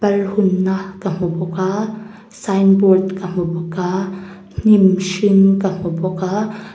pal hungna ka hmu bawk a sign board ka hmu bawk a hnim hring ka hmu bawk a--